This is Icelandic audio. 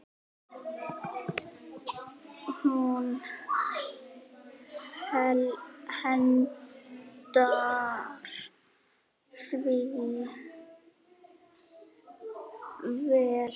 Hún hentar því vel.